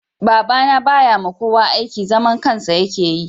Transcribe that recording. Baba na ba ya ma kowa aiki. Zaman kansa ya ke yi